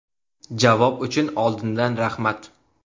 Javob uchun oldindan rahmat!